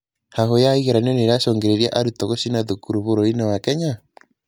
Hahũ ya igeranio nĩĩracũngĩrĩria arutwo gũcina thukuru bũrũri-inĩ wa Kenya?